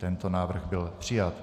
Tento návrh byl přijat.